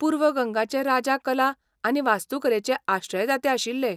पूर्व गंगाचे राजा कला आनी वास्तुकलेचे आश्रयदाते आशिल्ले.